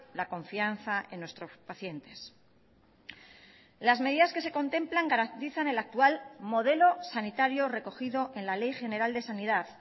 la confianza en nuestros pacientes las medidas que se contemplan garantizan el actual modelo sanitario recogido en la ley general de sanidad